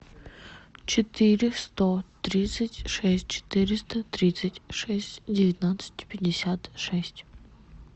четыре сто тридцать шесть четыреста тридцать шесть девятнадцать пятьдесят шесть